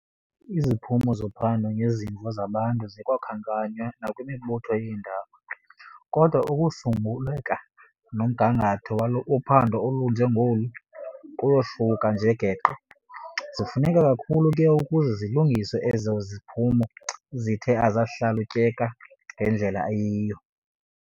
Iziphumo zophando ngezimvo zabantu zikwakhankanywa nakwimibutho yeendaba, kodwa ukusulungeka nomgangatho wophando olunje ngolu kuyahluka nje geqe. Zifuneka kakhulu ke ukuze kulungiswe ezo ziphumo zithe azahlalutyeka ngendlela eyiyo.